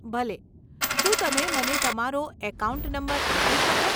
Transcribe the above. ભલે, શું તમે મને તમારો એકાઉન્ટ નંબર આપી શકો?